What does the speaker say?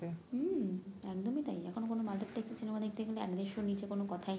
হম একদমই তাই এখন কোন এ সিনেমা দেখতে গেলে এক দেরশোর নিচে কোন কোথাই নেই